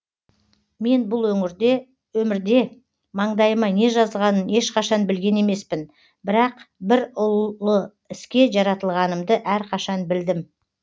мен бұл өмірде маңдайыма не жазғанын ешқашан білген емеспін бірақ бір ұлы іске жаратылғанымды әрқашан білдім